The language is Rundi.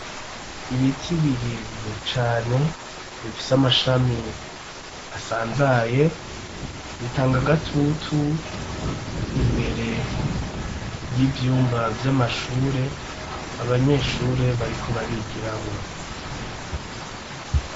Ibiti birebire cane bifise amashami asanzaye bitanga gatutu, imbere y'ivyumba vy'amanyeshure abanyeshure bariko barigiramwo.